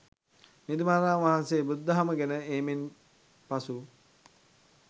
මිහිඳු මහරහතන් වහන්සේ බුදුදහම ගෙන ඒමෙන් පසු